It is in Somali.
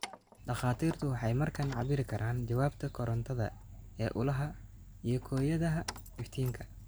Dhakhaatiirtu waxay markaa cabbiri karaan jawaabta korantada ee ulaha iyo kooyadaha iftiinka.